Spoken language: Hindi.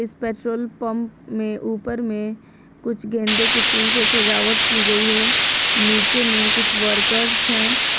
इस पेट्रोल पंप में ऊपर में कुछ गेंदे के फूल से सजावट की गई है नीचे में कुछ वर्कर्स हैं।